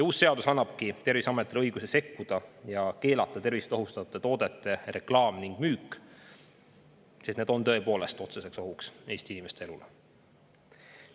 Uus seadus annabki Terviseametile õiguse sekkuda ning keelata tervist ohustavate toodete reklaam ja müük, sest need on tõepoolest otseseks ohuks Eesti inimeste elule.